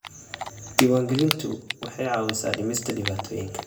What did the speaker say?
Diiwaangelintu waxay caawisaa dhimista dhibaatooyinka.